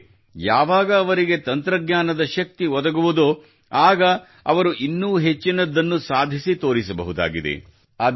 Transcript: ಆದರೆ ಯಾವಾಗ ಇವರಿಗೆ ತಂತ್ರಜ್ಞಾನದ ಶಕ್ತಿ ಒದಗುವುದೋ ಆಗ ಇವರು ಇನ್ನೂ ಹೆಚ್ಚಿನದನ್ನು ಸಾಧಿಸಿ ತೋರಿಸಬಹುದಾಗಿದೆ